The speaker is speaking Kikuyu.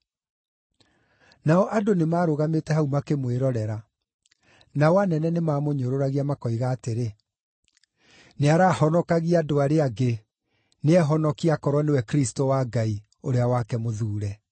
Nao andũ nĩmarũgamĩte hau makĩmwĩrorera: Nao anene nĩmamũnyũrũragia makoiga atĩrĩ, “Nĩarahonokagia andũ arĩa angĩ, nĩehonokie aakorwo nĩwe Kristũ wa Ngai, Ũrĩa wake Mũthuure.”